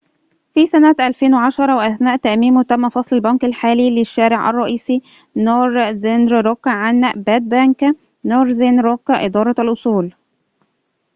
في سنة 2010 وأثناء تأميمه تم فصل البنك الحالي للشارع الرئيسي نورذرن روك عن باد بنك، نورذن روك إدارة الأصول